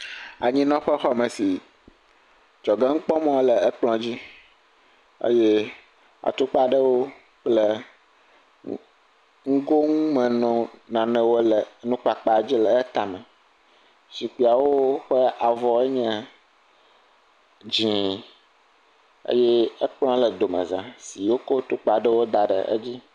Aninɔƒe aɖee nye esi. Dzɔge nukpɔmɔ le ekplɔa dzi eye atukpa aɖe wole nugo nume nɔ, nane wole nukpanpa dzi le wo tame. Zikpuiawo ƒe avɔ nye dzɛ eye ekplɔa le dome za eye wokɔ tuka ɖe dz ɖe edzi.